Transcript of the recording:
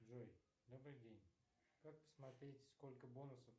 джой добрый день как посмотреть сколько бонусов